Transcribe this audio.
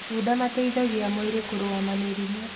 matunda mateithagia mwĩrĩ kũrũa na mĩrimũ